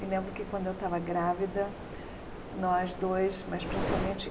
Me lembro que quando eu estava grávida, nós dois, mas principalmente,